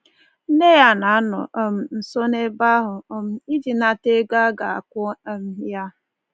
Nne ya na-anọ um nso n’ebe ahụ um iji nata ego a ga-akwụ um ya.